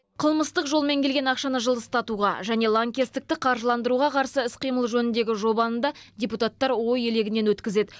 қылмыстық жолмен келген ақшаны жылыстатуға және лаңкестікті қаржыландыруға қарсы іс қимыл жөніндегі жобаны да депутаттар ой елегінен өткізеді